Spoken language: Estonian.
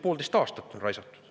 Poolteist aastat on raisatud.